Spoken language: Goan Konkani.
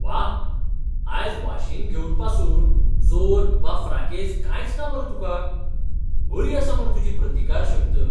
व्वा! आयज वाशीन घेवन पासून जोर वा फ्राकेझ कांयच ना मरे तुका. बरी आसा मरे तुजी प्रतिकारशक्त!